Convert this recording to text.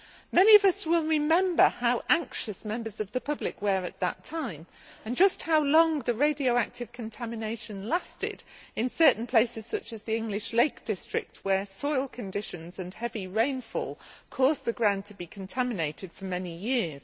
Many of us will remember how anxious members of the public were at that time and just how long the radioactive contamination lasted in certain places, such as the English Lake District, where soil conditions and heavy rainfall caused the ground to be contaminated for many years.